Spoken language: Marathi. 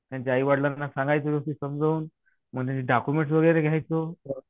त्यांच्या आईवडिलांना सांगायचो व्यवस्थित समजावून. मग त्यांचे डॉक्युमेंट्स वगैरे घ्यायचो.